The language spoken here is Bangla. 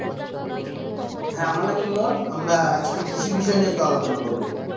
হ্যাঁ আমার নাম ইমন। আমরা আজকে কৃষি বিষয় নিয়ে তো আলোচনা করবো।